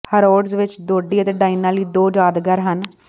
Harrods ਵਿਚ Dodi ਅਤੇ Diana ਲਈ ਦੋ ਯਾਦਗਾਰ ਹਨ